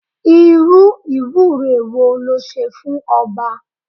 Irú ìwúre wo le ṣe fún ọba?